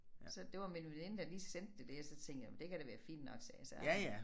Så det var min veninde der lige sendte det der så tænkte jeg det kan da være fint nok sagde jeg så